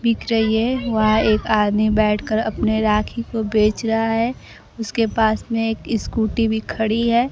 बिक रही है वहां एक आदमी बैठकर अपने राखी को बेच रहा है उसके पास में एक इसकुटी भी खड़ी है।